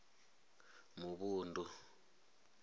muvhundu